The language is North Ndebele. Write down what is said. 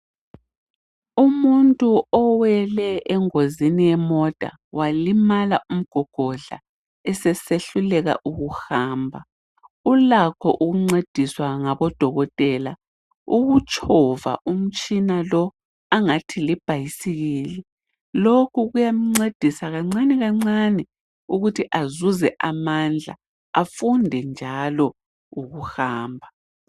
Umuntu owele engozini yemota walimala umgogodla esesehluleka ukuhamba ulakho ukuncediswa ngabo Dokotela ukutshova umtshina lo angathi libhayisikili .Lokhu kuyamncedisa kancane kancane ukuthi azuze amandla .Afunde njalo ukuhamba.